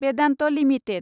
Vedanta limited